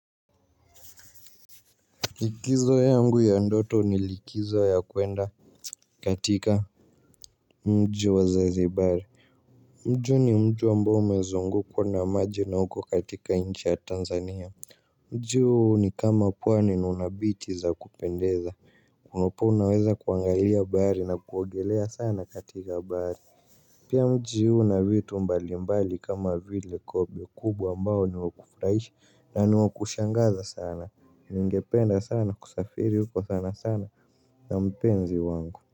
Likizo yangu ya ndoto ni likizo ya kuenda katika mji wa zanzibari. Mji ni mji ambao umezungukwa na maji na uko katika nchi ya Tanzania mji huu ni kama pwani na una bichi za kupendeza hapo unaweza kuangalia bahari na kuogelea sana katika bahari. Pia mji huu una vitu mbali mbali kama vile kobe kubwa ambao niwa kufurahisha na niwakushangaza sana ningependa sana kusafiri huko sana sana na mpenzi wangu.